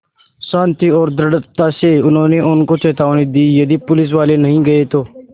शान्ति और दृढ़ता से उन्होंने उनको चेतावनी दी यदि पुलिसवाले नहीं गए तो